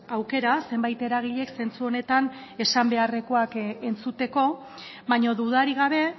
aukera zenbait eragilek zentzu honetan esan beharrekoak entzuteko baina dudarik gabe